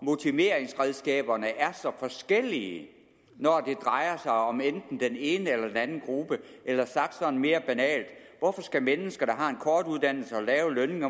motiveringsredskaberne er så forskellige når det drejer sig om enten den ene eller anden gruppe eller sagt sådan mere banalt hvorfor skal mennesker der har en kort uddannelse og lav lønning